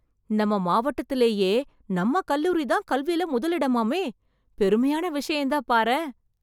நம்ம மாவட்டத்துலேயே நம்ம கல்லூரி தான் கல்வில முதல் இடமாமே, பெருமையான விஷயம் தான் பாரேன்.